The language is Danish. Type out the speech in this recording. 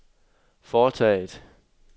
foretaget